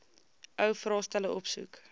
ou vraestelle opsoek